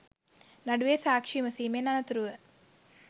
නඩුවේ සාක්ෂි විමසීමෙන් අනතුරුව